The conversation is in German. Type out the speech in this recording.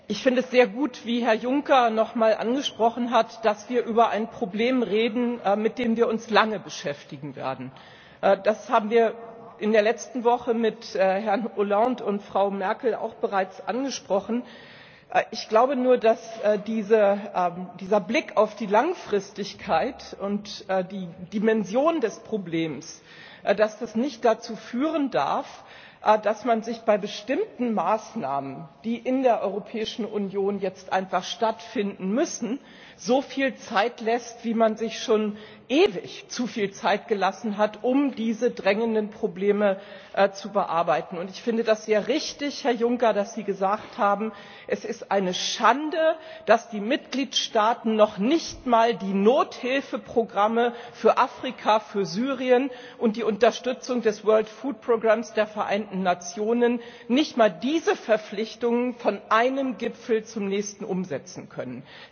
Herr Präsident, sehr geehrter Herr Ratspräsidenten, sehr geehrter Herr Kommissionspräsident, meine Damen und Herren Kollegen! Ich finde es sehr gut, wie Herr Juncker nochmal angesprochen hat, dass wir über ein Problem reden, mit dem wir uns lange beschäftigen werden. Das haben wir in der letzten Woche mit Herrn Hollande und Frau Merkel auch bereits angesprochen. Ich glaube nur, dass dieser Blick auf die Langfristigkeit und die Dimension des Problems nicht dazu führen darf, dass man sich bei bestimmten Maßnahmen, die in der Europäischen Union jetzt einfach stattfinden müssen, so viel Zeit lässt, wie man sich schon ewig zu viel Zeit gelassen hat, um diese drängenden Probleme zu bearbeiten. Und ich finde es sehr richtig, Herr Juncker, dass Sie gesagt haben Es ist eine Schande, dass die Mitgliedstaaten noch nicht einmal die Nothilfeprogramme für Afrika, für Syrien und die Unterstützung des World Food Programms der Vereinten Nationen nicht einmal diese Verpflichtungen von einem Gipfel zum nächsten umsetzen können.